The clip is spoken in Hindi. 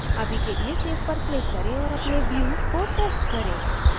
अभी के लिए save पर click करें औऱ अपने view को test करें